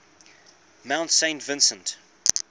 mount saint vincent